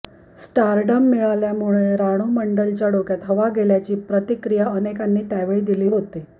stardom मिळाल्यामुळे रानू मंडलच्या डोक्यात हवा गेल्याची प्रतिक्रिया अनेकांनी त्यावेळी दिली होती